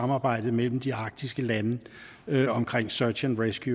samarbejdet mellem de arktiske lande omkring search and rescue